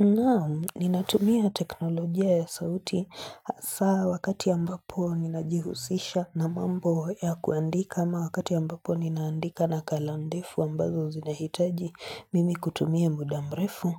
Naam ninatumia teknolojia ya sauti hasa wakati ambapo ninajihusisha na mambo ya kuandika ama wakati ambapo ninaandika nakala ndefu ambazo zinahitaji mimi kutumia muda mrefu